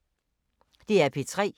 DR P3